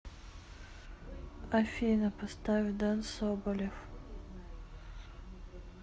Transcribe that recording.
афина поставь ден соболев